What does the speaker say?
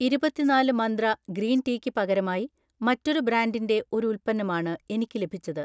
ഇരുപത്തി നാല് Mantra green tea ക്ക് പകരമായി മറ്റൊരു ബ്രാൻഡിന്‍റെ ഒരു ഉൽപ്പന്നമാണ് എനിക്ക് ലഭിച്ചത്.